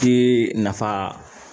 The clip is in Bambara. Ki nafa